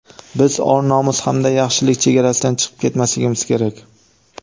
biz or-nomus hamda yaxshilik chegarasidan chiqib ketmasligimiz kerak.